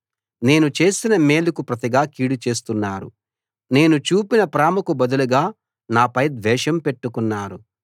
నేను చేసిన మేలుకు ప్రతిగా కీడు చేస్తున్నారు నేను చూపిన ప్రేమకు బదులుగా నాపై ద్వేషం పెట్టుకున్నారు